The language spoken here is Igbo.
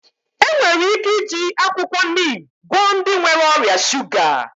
Enwere ike iji akwụkwọ nim gwọọ ndị nwere ọrịa shuga